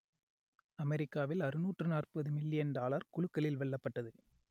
அமெரிக்காவில் அறுநூற்று நாற்பது மில்லியன் டாலர் குலுக்கலில் வெல்லப்பட்டது